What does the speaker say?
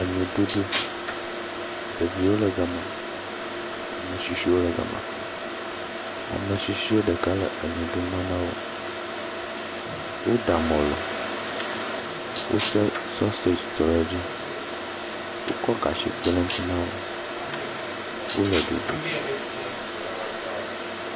Enuɖuɖu, ɖeviwo le gama, ametsitsie ɖeka le enuɖu ma na wo, wo ɖa mɔlu, wose saseg trɔ ɖe dzi, wokɔ gatsi kpe ɖe ŋuti na wo, wole ɖuɖu.